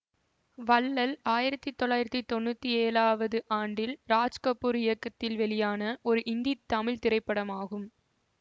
வள்ளல் ஆயிரத்தி தொள்ளாயிரத்தி தொன்னூத்தி ஏழாவது ஆண்டில் ராஜ்கபூர் இயக்கத்தில் வெளியான ஒரு இந்தி தமிழ் திரைப்படமாகும்